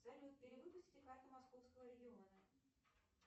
салют перевыпустите карту московского региона